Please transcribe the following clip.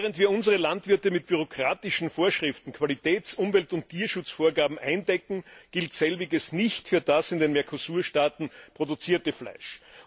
Denn während wir unsere Landwirte mit bürokratischen Vorschriften, Qualitäts Umwelt und Tierschutzvorgaben eindecken, gilt Selbiges nicht für das in den Mercosur Staaten produzierte Fleisch.